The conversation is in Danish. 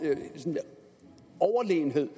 overlegenhed